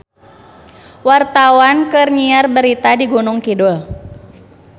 Wartawan keur nyiar berita di Gunung Kidul